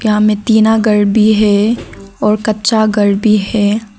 यहां में टीना घर भी है और कच्चा घर भी है।